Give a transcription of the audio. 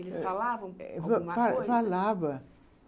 Eles falavam alguma coisa? Eh, fa fa falava